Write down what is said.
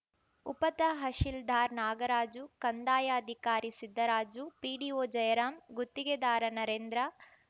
ಉಪತಹಶೀಲ್ದಾರ್ ನಾಗರಾಜು ಕಂದಾಯಾಧಿಕಾರಿ ಸಿದ್ದರಾಜು ಪಿಡಿಓ ಜಯರಾಂ ಗುತ್ತಿಗೆದಾರ ನರೇಂದ್ರ